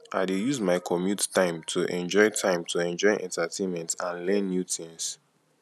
i dey use my commute time to enjoy time to enjoy entertainment and learn new things